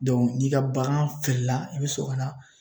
dɔnku n'i ka bagan feerela i be sɔrɔ ka na